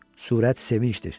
Sürət sevinchdir.